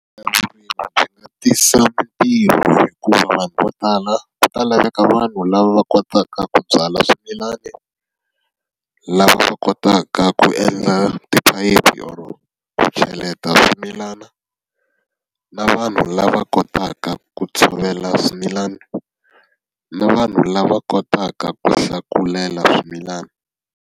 Tisa mintirho hikuva vanhu vo tala, ku ta laveka vanhu lava va kotaka ku byala swimilana, lava va kotaka ku endla tiphayiphi or-o ku cheleta swimilana na vanhu lava kotaka ku tshovela swimilana. Na vanhu lava kotaka ku hlakulela swimilana.